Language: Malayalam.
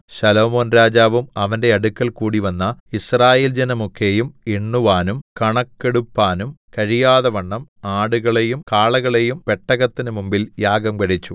ശലോമോൻരാജാവും അവന്റെ അടുക്കൽ കൂടിവന്ന യിസ്രായേൽ ജനമൊക്കെയും എണ്ണുവാനും കണക്കെടുപ്പാനും കഴിയാതവണ്ണം ആടുകളെയും കാളകളെയും പെട്ടകത്തിനു മുമ്പിൽ യാഗം കഴിച്ചു